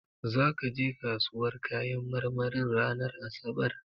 Zaka je kasuwar kayan marmarin ranar asabar?